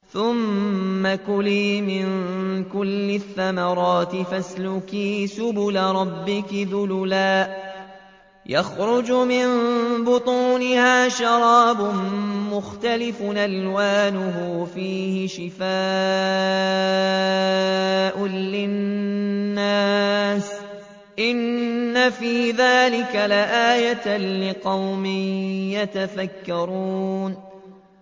ثُمَّ كُلِي مِن كُلِّ الثَّمَرَاتِ فَاسْلُكِي سُبُلَ رَبِّكِ ذُلُلًا ۚ يَخْرُجُ مِن بُطُونِهَا شَرَابٌ مُّخْتَلِفٌ أَلْوَانُهُ فِيهِ شِفَاءٌ لِّلنَّاسِ ۗ إِنَّ فِي ذَٰلِكَ لَآيَةً لِّقَوْمٍ يَتَفَكَّرُونَ